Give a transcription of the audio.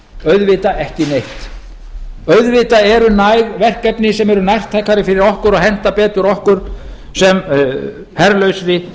auðvitað ekki neitt auðvitað eru næg verkefni sem eru nærtækari fyrir okkur og henta betur okkur sem herlausri og